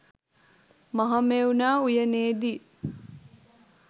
Mahamevna උයනේදී